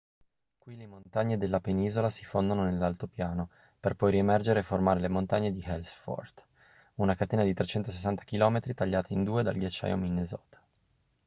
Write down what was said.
qui le montagne della penisola si fondono nell'altopiano per poi riemergere e formare le montagne di ellsworth una catena di 360 km tagliata in due dal ghiacciaio minnesota